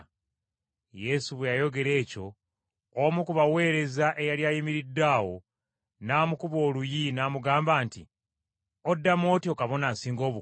Yesu bwe yayogera ekyo omu ku baweereza eyali ayimiridde awo n’amukuba oluyi n’amugamba nti, “Oddamu otyo Kabona Asinga Obukulu?”